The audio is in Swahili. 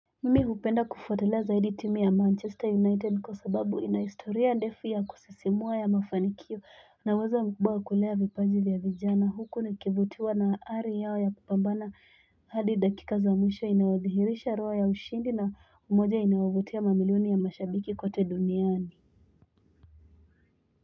Mimi hupenda kufuatilia zaidi timu ya Manchester United kwa sababu ina historia ndefu ya kusisimua ya mafanikio na uwezo mkubwa wa kulea vipaji vya vijana Huku ni kivutiwa na ari yao ya kupambana hadi dakika za mwisho inayothihirisha roho ya ushindi na umoja inayovutia mamiloni ya mashabiki kote duniani.